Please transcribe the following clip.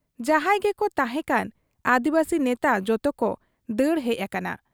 ᱡᱟᱦᱟᱸᱭ ᱜᱮᱠᱚ ᱛᱟᱦᱮᱸ ᱠᱟᱱ ᱟᱹᱫᱤᱵᱟᱹᱥᱤ ᱱᱮᱛᱟ ᱡᱚᱛᱚ ᱠᱚ ᱫᱟᱹᱲ ᱦᱮᱡ ᱟᱠᱟᱱᱟ ᱾